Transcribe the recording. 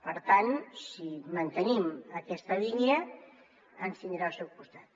per tant si mantenim aquesta línia ens tindrà al seu costat